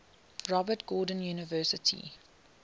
robert gordon university